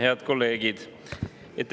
Head kolleegid!